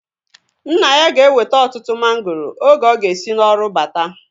Nna ya ga-eweta ọtụtụ mangoro oge ọ ga-esi n'ọrụ bata